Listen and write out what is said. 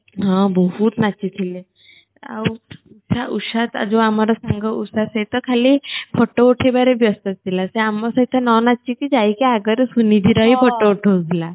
ହଁ ବହୁତ ନାଚି ଥିଲେ ଆଉ ଉଷା ଉଷା ତାର ଯୋଉ ଆମର ସାଙ୍ଗ ଉଷା ସେ ତ ଖାଲି photo ଉଠେଇବାରେ ବ୍ୟସ୍ତ ଥିଲା ସେ ଆମ ସହିତ ନ ନାଚି କି ଯାଇକି ଆଗରେ ସୁନିଧି ର ହିଁ photo ଉଠୋଉଥିଲା